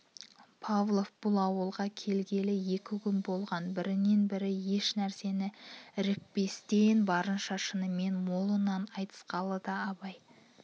павлов бұл ауылға келгелі екі күн болған бірінен-бірі еш нәрсені ірікпестен барынша шынымен молынан айтысқан-ды абай